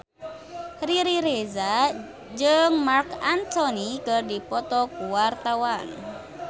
Riri Reza jeung Marc Anthony keur dipoto ku wartawan